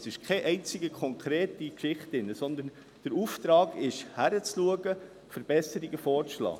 Es ist keine einzige konkrete Geschichte drin, sondern der Auftrag ist es, hinzuschauen, Verbesserungen vorzuschlagen.